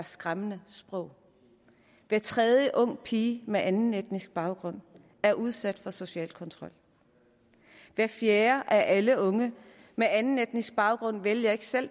skræmmende sprog hver tredje unge pige med anden etnisk baggrund er udsat for social kontrol hver fjerde af alle unge med anden etnisk baggrund vælger ikke selv